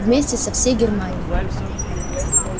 вместе со всей германией